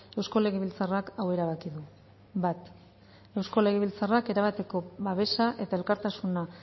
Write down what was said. eusko legebiltzarrak hau erabaki du bat eusko legebiltzarrak erabateko babesa eta elkartasuna